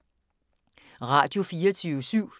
Radio24syv